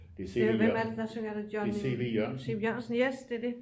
Hvem er det der synger er det Johnny C V Jørgensen yes det er det